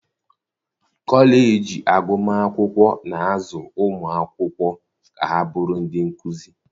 kọleji agụmakwụkwọ na-azụ ụmụ akwụkwọ ka ha bụrụ ndị nkuzi.